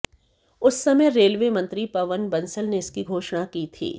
उस समय रेलवे मंत्री पवन बंसल ने इसकी घोषणा की थी